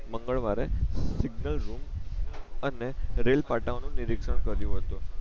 મંગળવારે signal room અને rail પાટા ઓ નું નિરીકશન કર્યું હતું